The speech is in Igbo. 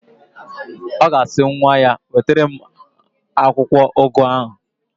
Ọ ga-asị nwa ya, "wetara m akwụkwọụgụ ahụ"!